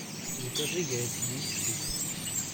закажи яйца десять штук